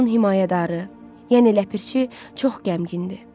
onun himayədarı, yəni Ləpirçi, çox qəmgin idi.